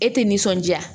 E tɛ nisɔndiya